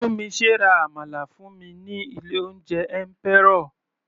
Tunmise ra àmàlà fún mi ní ilé oúnjẹ Emperor.